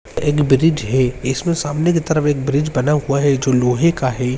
एक ब्रिज है इसमें सामने कि तरफ एक ब्रिज बना हुआ है जो लोहे का है।